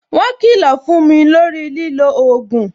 Mo kilo fún mi lórí lilo ogun